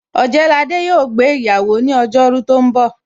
Ojewole yo gbé iyawo ni ojo ru tó ń bò